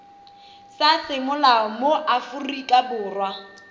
sa semolao mo aforika borwa